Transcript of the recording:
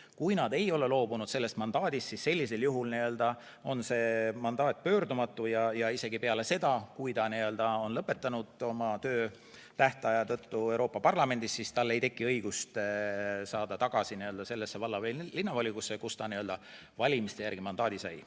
Kui nad ei ole sellest mandaadist loobunud, siis sellisel juhul on see mandaat pöördumatu ja isegi peale seda, kui ta on tähtaja tõttu töö Euroopa Parlamendis lõpetanud, ei teki tal õigust saada tagasi sellesse valla- või linnavolikogusse, kus ta valimiste järgi mandaadi sai.